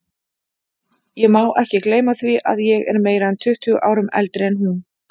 Ég má ekki gleyma því að ég er meira en tuttugu árum eldri en hún.